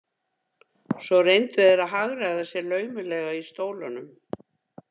Svo reyndu þeir að hagræða sér laumulega í stólunum.